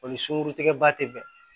O ni sunkurutigɛ ba tɛ bɛn